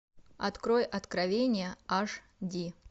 открой откровения аш ди